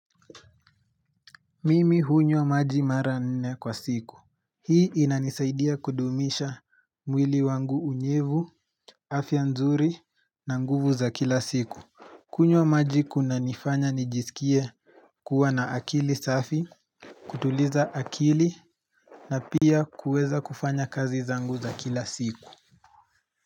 Mimi hunywa maji mara nne kwa siku. Hii inanisaidia kudumisha mwili wangu unyevu afya nzuri na nguvu za kila siku. Kunywa maji kuna nifanya nijisikie kuwa na akili safi kutuliza akili na pia kuweza kufanya kazi zangu za kila siku.